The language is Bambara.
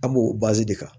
An b'o de kɛ